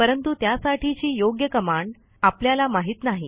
परंतु त्यासाठीची योग्य कमांड आपल्याला माहित नाही